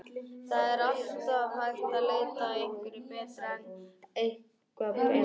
Það er alltaf hægt að leita að einhverju betra en er eitthvað betra?